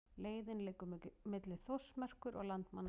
Leiðin liggur milli Þórsmerkur og Landmannalauga.